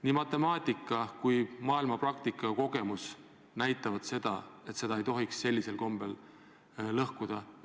Nii matemaatiline arvutus kui ka maailmapraktika näitavad seda, et süsteemi ei tohiks sellisel kombel lõhkuda.